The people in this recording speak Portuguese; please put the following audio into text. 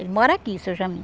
Ele mora aqui, Seu Jamin.